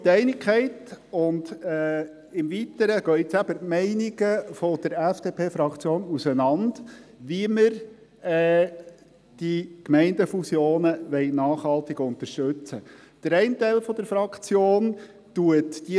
Soweit Einigkeit, und im Weiteren – wie man die Gemeindefusionen nachhaltig unterstützen will – gehen jetzt eben die Meinungen der FDP-Fraktion auseinander.